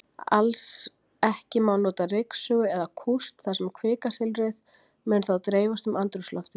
Alls ekki má nota ryksugu eða kúst, þar sem kvikasilfrið mundi þá dreifast um andrúmsloftið.